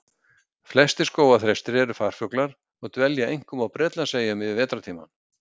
Flestir skógarþrestir eru farfuglar og dvelja einkum á Bretlandseyjum yfir vetrartímann.